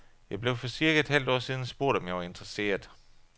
Jeg blev for cirka et halvt år siden spurgt, om jeg var interesseret.